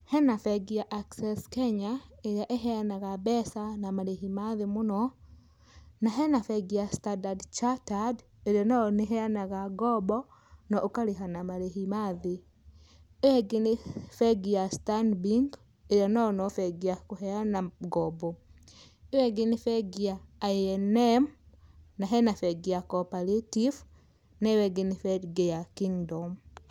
Hena bengi ya Access Kenya, ĩrĩa ĩheyanaga mbeca na marĩhi mathĩ mũno, na hena bengi ya Standard Chartered ĩrĩa o nayo nĩĩheyanaga ngombo na ũkarĩha na marĩhi mathĩ, ĩyo ĩngĩ nĩ bengi ya Stanbic ĩyo nayo no bengi ya kũheyana ngombo, ĩyo ĩngĩ nĩ bengi ya I&M, na hena bengi ya Cooperative, na ĩyo ĩngĩ nĩ bengi ya Kingdom.